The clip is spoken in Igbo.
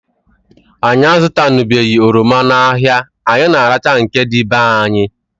Anyị azutanubeghi oroma n'ahia, anyị na arachaa nke dị be anyị